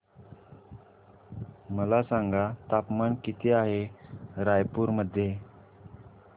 मला सांगा तापमान किती आहे रायपूर मध्ये